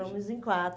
Estamos em quatro.